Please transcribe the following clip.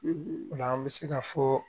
Ola an bɛ se ka fɔ